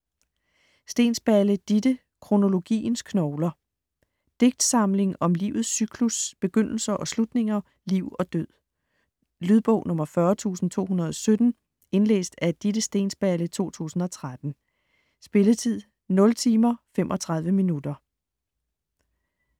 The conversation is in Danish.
Steensballe, Ditte: Kronologiens knogler Digtsamling om livets cyklus, begyndelser og slutninger, liv og død. Lydbog 40217 Indlæst af Ditte Steensballe, 2013. Spilletid: 0 timer, 35 minutter.